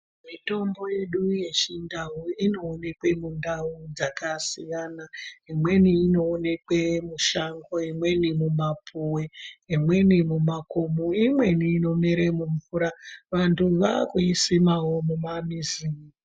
Mitombo yedu yechindau inoonekwe mundau dzakasiyana imweni inoonekwe mushango, imweni mumapuwe, imweni mumakomo, imweni inomere mumvura vantu vaakuisimawo mumamizi.